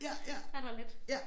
Er der lidt